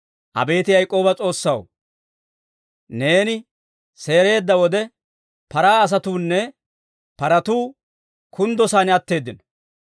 Abeet Yaak'ooba S'oossaw, neeni seereedda wode, paraa asatuunne paratuu kunddo saan atteeddino.